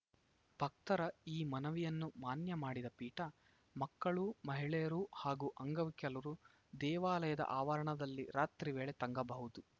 ಭಕ್ತರ ಈ ಮನವಿಯನ್ನು ಮಾನ್ಯ ಮಾಡಿದ ಪೀಠ ಮಕ್ಕಳು ಮಹಿಳೆಯರು ಹಾಗೂ ಅಂಗವಿಕಲರು ದೇವಾಲಯದ ಆವರಣದಲ್ಲಿ ರಾತ್ರಿ ವೇಳೆ ತಂಗಬಹುದು